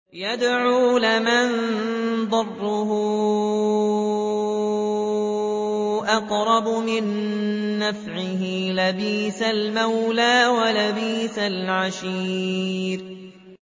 يَدْعُو لَمَن ضَرُّهُ أَقْرَبُ مِن نَّفْعِهِ ۚ لَبِئْسَ الْمَوْلَىٰ وَلَبِئْسَ الْعَشِيرُ